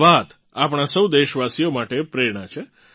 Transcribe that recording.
આ વાત આપણાં સૌ દેશવાસીઓ માટે પ્રેરણા છે